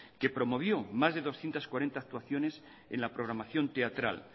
que promovió más de doscientos cuarenta actuaciones en la programación teatral